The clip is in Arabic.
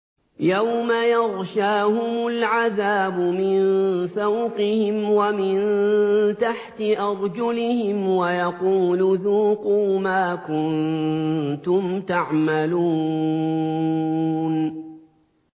يَوْمَ يَغْشَاهُمُ الْعَذَابُ مِن فَوْقِهِمْ وَمِن تَحْتِ أَرْجُلِهِمْ وَيَقُولُ ذُوقُوا مَا كُنتُمْ تَعْمَلُونَ